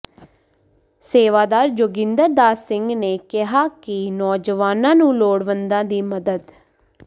ਸੇਵਾਦਾਰ ਜੋਗਿੰਦਰ ਦਾਸ ਸਿੰਘ ਨੇ ਕਿਹਾ ਕਿ ਨੌਜਵਾਨਾਂ ਨੂੰ ਲੋੜਵੰਦਾਂ ਦੀ ਮਦਦ